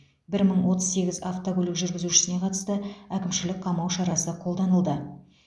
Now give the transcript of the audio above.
бір мың отыз сегіз автокөлік жүргізушісіне қатысты әкімшілік қамау шарасы қолданылды